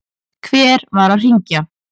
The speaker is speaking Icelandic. Hver var að hringja?